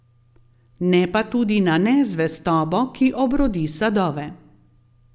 Ne pa tudi na nezvestobo, ki obrodi sadove.